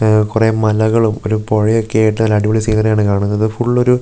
ഉം കുറേ മലകളും ഒരു പുഴയൊക്കെ ആയിട്ട് നല്ല അടിപൊളി സീനറി ആണ് കാണുന്നത് ഫുൾ ഒരു ഒരു പച്ചപ്പും --